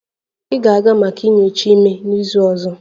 Ị ga-aga maka nyocha ime n'izu ọzọ